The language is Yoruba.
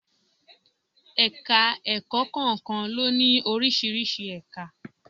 Ẹ̀ka-ẹ̀kọ́ kọ̀ọ̀kan ló ní oríṣiríṣi ẹ̀ka.